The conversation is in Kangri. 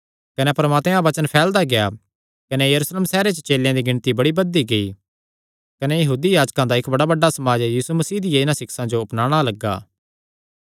कने परमात्मे दा वचन फैलदा गेआ कने यरूशलेम सैहरे च चेलेयां दी गिणती बड़ी बधदी गेई कने यहूदी याजकां दा इक्क बड़ा बड्डा समाज यीशु मसीह दियां इन्हां सिक्षां जो अपनाणा लग्गा